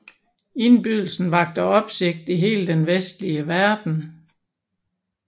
Indbydelsen vakte opsigt i hele den vestlige verden